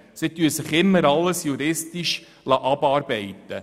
Sie lassen sich immer alles juristisch abarbeiten.